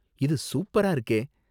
இது சூப்பரா இருக்கே!